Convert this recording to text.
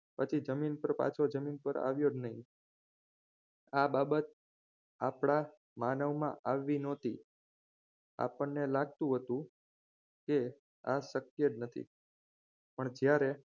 પછી જમીન પર પાછો જમીન પર આવ્યો જ નહીં આ બાબત આપણા માનવમાં આવી નહોતી આપણને લાગતું હતું એ આ શક્ય નથી પણ જ્યારે